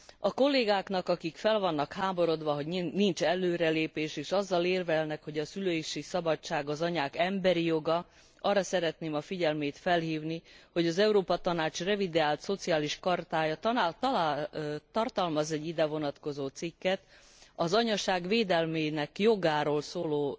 A kollégáknak, akik fel vannak háborodva, hogy nincs előrelépés, és azzal érvelnek, hogy a szülési szabadság az anyák emberi joga, arra szeretném a figyelmét felhívni, hogy az Európa Tanács revideált Szociális Chartája tartalmaz egy ide vonatkozó cikket az anyaság védelmének jogáról szóló